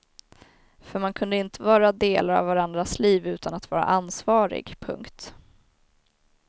För man kunde inte vara delar av varandras liv utan att vara ansvarig. punkt